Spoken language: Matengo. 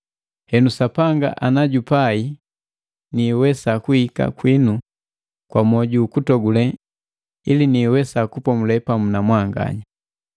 Henu Sapanga ana jupai niiwesa kuhika kwinu kwa moju ukutogule ili niiwesa kupomule pamu na mwanganya.